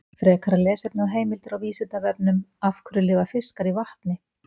Frekara lesefni og heimildir á Vísindavefnum: Af hverju lifa fiskar í vatni?